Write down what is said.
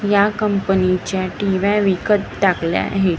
या कंपनीच्या टिव्या विकत टाकल्या आहेत.